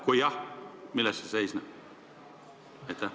Kui jah, milles see seisneb?